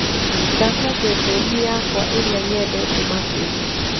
thaka ceceni yakwaĩrĩa nyendete makĩrĩa